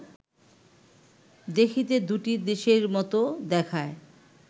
দেখিতে দুটি দেশের মত দেখায়